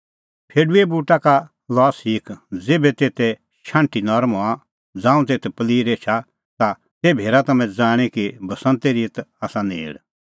फेडूए बूटा का शिखल़ा उदाहरणा ज़ेभै तेते शाण्हटी नरम हआ ज़ांऊं तेथ प्लीर एछा ता तेभै हेरा तम्हैं ज़ाणीं कि बसंते ऋत आसा नेल़